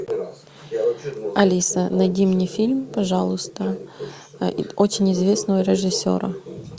алиса найди мне фильм пожалуйста очень известного режиссера